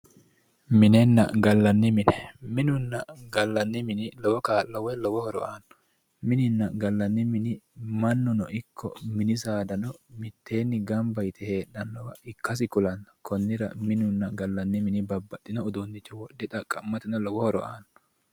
minenna gallanni mine minunna gallanni mini lowo kaa'lo woy lowo horo aanno minunna gallanni mini mannuno ikko saada mitteenni gamba yite heedhannoha ikkasi kulanno kunnira mininna gallanni minni babaxitinno lowo horo aanno